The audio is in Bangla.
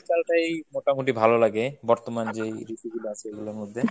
শীতকালটাই মোটামোটি ভালোলাগে বর্তমান যেই ঋতুগুলা আছে ঐগুলার মধ্যে।